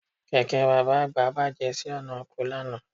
Kẹ̀kẹ́ bàbá àgbà bàjẹ́ sí ọ̀nà oko lánàá